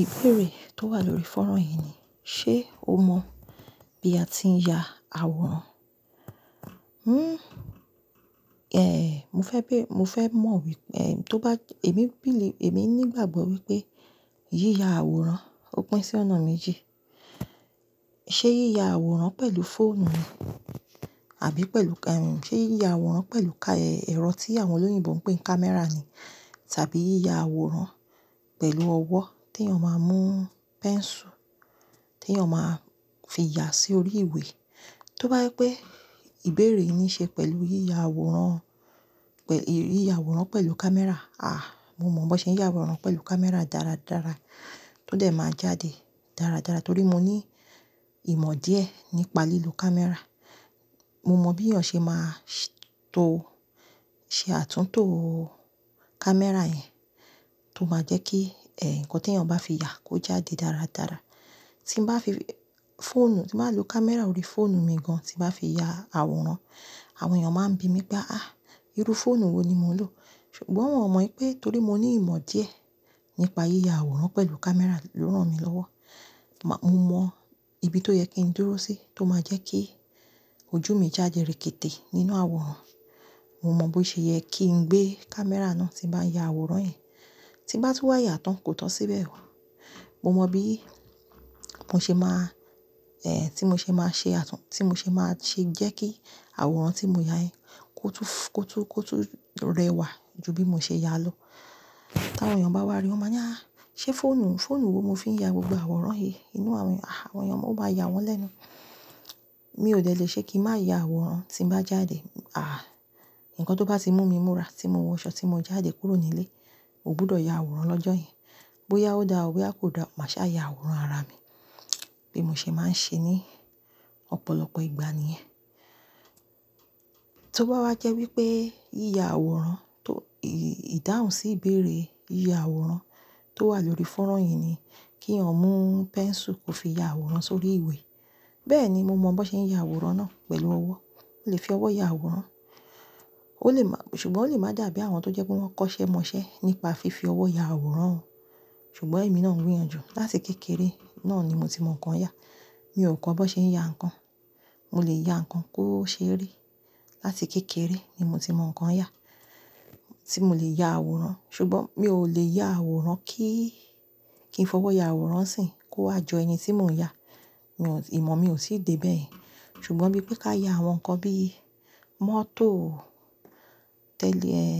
Ìbéèrè tó wà lórí fọ́rọ̀ yìí ni, ṣe o mọ̀ bí a ti ń ya àwòrán? Hmm, eh, mo fẹ́ be, mo fẹ́ mọ̀ wípé, eh, tó bá, èmi, èmi nígbàgbọ́ wípé yíya àwòrán ó pín sí ọ̀nà méjì. Ṣé yíya àwòrán pẹ̀lú fóònù ni àbí pẹ̀lú ka- ẹ̀, ṣe yíya àwòrán pẹ̀lú ka, ẹ̀rọ tí àwọn olóyìnbo ń pè ní camera ni tàbí yíya àwòrán pẹ̀lú ọwọ́ tí èèyàn máa mú pẹ́nsù tí èèyàn máa fi ya sórí ìwé. Tó bá jẹ́ pé ìbéèrè yìí ní í ṣe pẹ̀lú yíya àwòrán, yíya àwòrán pẹ̀lú camera, àh, mo mọ̀ bó ṣe ń ya àwòrán pẹ̀lú camera dáradára, tó dẹ̀ máa jáde dáradára torí mo ní ìmọ̀ díẹ̀ nípa lílo camera. Mo mọ̀ bí èèyàn ṣe máa ṣeto, ṣe àtúntò camera yẹn tó máa jẹ́ kí, ẹ, ǹkan tí èèyàn bá fi ya kó jáde dáradára. Tí mo bá fi fóònù, tí màá lo camera orí fóònù mi gan tí màá fi ya àwòrán, àwọn èèyàn máa ń bi mí pé, "àh, irú fóònù wo ni mò ń lò?" ṣùgbọ́n wọ́n ò mọ̀ pé torí mo ní ìmọ̀ díẹ̀ nípa yíya àwòrán pẹ̀lú camera ló rán mi lọ́wọ́. Màá, mo mọ ibi tó yẹ kí ń dúró sí tó máa jẹ́ kí ojú mi jáde rèkéte nínú àwòrán. Mo mọ bó ṣe yẹ kí ń gbé camera náà tí n bá ya àwòrán yẹn. Tí bá tún wáyà tán, kò tàn síbẹ̀ wà. Mo mọ bí mo ṣe máa, eh, tí mo ṣe máa ṣe àtún, tí mo ṣe máa ṣe jẹ́ kí àwòrán tí mo ya yẹn kó tú, kó tú, kó tú rẹwà ju bí mo ṣe ya lọ. Bí àwọn èèyàn bá wá ríi, wọ́n má ni à, "ṣé fóònù, fóònù wo mo fi ń ya gbogbo àwòrán yìí inú àwọn," àh, àwọn èèyàn ó máa ya wọ́n lẹ́nu. Mi ò tẹ̀lé ṣe kí màá ya àwòrán tí n bá jáde. Àh, ǹkan tó bá ti mú mi múra, tí mo wọ aṣọ tí mo jáde kúrò nílé, mò gbọdọ̀ ya àwòrán lọ́jọ́ yẹn. Bóyá ó dára, bí a kò dára, màá ṣà ya àwòrán ara mi bí mo ṣe máa ń ṣe ní ọ̀pọ̀lọpọ̀ ìgbà níyẹn. Tó bá wá jẹ́ wípé yíya àwòrán tó, ìdáhùn sí ìbéèrè yíya àwòrán tó wà lórí fọ́nrán yìí ni kí ẹ̀yin mú pẹ́nsù kí o fi ya àwòrán sórí ìwé, bẹ́ẹ̀ni mo mọ̀ bó ṣe ń ya àwòrán náà pẹ̀lú ọwọ́. Mo lè fi ọwọ́ ya àwòrán. O lè máa, ṣùgbọ́n o lè máa dàbí àwọn tó jẹ́ pé wọ́n kọ́ṣẹ́ mọṣẹ́ nípa fífi ọwọ́ ya àwòrán o. Ṣùgbọ́n èmi náà ń gbìyànjú láti kékeré náà ni mo ti mọ̀ nǹkan yà. Mi ò kọ̀ bó ṣe ń ya ǹkan. Mo lè ya ǹkan kó ṣe rí láti kékeré ni mo ti mọ̀ nǹkan yà tí mo lè ya àwòrán. Ṣùgbọ́n mi ò lè ya àwòrán kí, kí n fi ọwọ́ ya àwòrán síi kó wá jọ ẹni tí mò ń ya. Mi ò, ìmọ̀ mi ò tì dé bẹ́ẹ̀. Ṣùgbọ́n bí pé ká ya àwọn nǹkan bí mọ́tò, tẹ́li ẹ̀,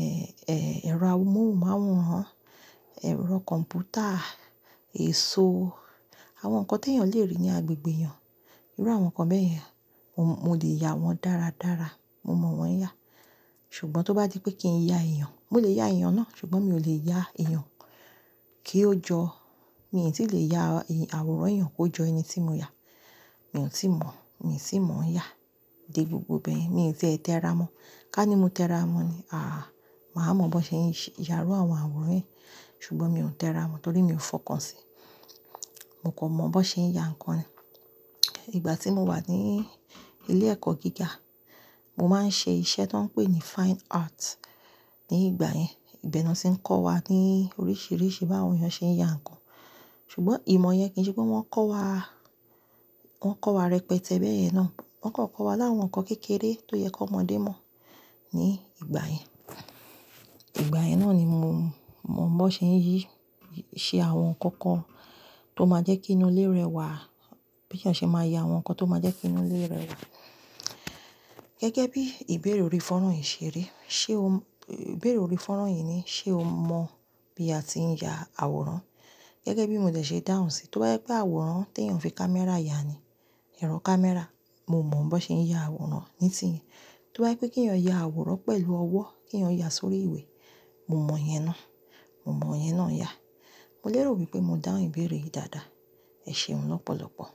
eh, ẹ̀rọ amóhùnmáwòrán, ẹ̀rọ kọ̀m̀pútà, èso, àwọn nǹkan tí èèyàn lè rí ní agbègbè èèyàn, irú àwọn nǹkan bẹ́ẹ̀ yẹn, mo lè ya wọ́n dáradára. Mo mọ̀ wọ́n yà. Ṣùgbọ́n tó bá di pé kí ń ya èèyàn, mo lè ya èèyàn náà ṣùgbọ́n mi ò lè ya èèyàn kí ó jọ, mi tì lè ya àwòrán èèyàn kó jọ ẹni tí mo yà. Mi ò tíì mọ̀, mi ò tì mọ̀ ń yà dé gbogbo bẹ́yẹ̀n. Mi ò tí ẹ tẹ́ tẹ́ra mọ́. Ká ní mo tẹ́ra mọ́ ni, àh, màá mọ̀ bó ṣe ń ya rú àwọn àwòrán yìí ṣùgbọ́n mi ò tẹ́ra mọ̀ torí mi ò fọkàn síi. Mo kò mọ̀ bó ṣe ń ya ǹkan ni. Ìgbà tí mo wà ní ilé ẹ̀kọ́ gíga, mo máa ń ṣe iṣẹ́ tó ń pè ní Fine Art ní ìgbà yẹn. Ìbẹ́ na ti ń kọ́ wa ní oríṣiríṣi bí àwọn èèyàn ṣe ń ya ǹkan. Ṣùgbọ́n ìmọ̀ yẹn kì í ṣe pé wọ́n kọ́ wa, wọ́n kọ́ wa rẹpẹtẹ bẹ́ẹ̀ yẹn náà. Wọ́n kàn kọ́ wa láwọn nǹkan kékeré tó yẹ kó ọmọdé mọ̀ ní ìgbà yẹn. Ìgbà yẹn náà ni mo mọ̀ bó ṣe ń yí, ṣe àwọn nǹkan kan tó máa jẹ́ kí inú ilé rẹwà. Bí èèyàn ṣe máa ya àwọn nǹkan tó máa jẹ́ kí inú ilé rẹwà. Gẹ́gẹ́ bí ìbéèrè orí fọ́nrán yìí ṣe rí, ṣe o, ìbéèrè orí fọ́nrán yìí ní, ṣe o mọ̀ bí a ti ń ya àwòrán? Gẹ́gẹ́ bí mo dẹ̀ ṣe dáhùn síi, tó bá jẹ́ pé àwòrán tí èèyàn fi camera ya ni, ẹ̀rọ camera, mo mọ̀ bó ṣe ń ya àwòrán nísìnyí. Tó bá jẹ́ pé kí ẹ̀yin ya àwòrán pẹ̀lú ọwọ́, kí ẹ̀yin ya sórí ìwé, mo mọ̀ yẹn náà. Mo mọ̀ yẹn náà yà. Mo lérò wípé mo dáhùn ìbéèrè yìí dáadáa. Ẹ ṣeun lọ́pọ̀lọpọ̀.